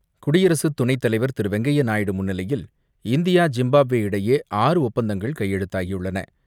குடியரசு துணைத்தலைவர் திரு வெங்கய்ய நாயுடு முன்னிலையில், இந்தியா ஜிம்பாப்வே இடையே ஆறு ஒப்பந்தங்கள் கையெழுத்தாகியுள்ளன.